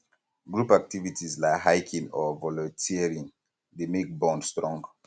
group activities um like hiking or volunteering dey make bond um strong